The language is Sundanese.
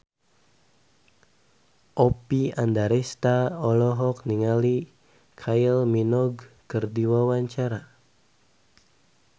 Oppie Andaresta olohok ningali Kylie Minogue keur diwawancara